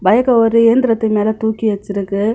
பைக்க ஒரு இயந்திரத்தின் மேல தூக்கி வச்சிருக்கு.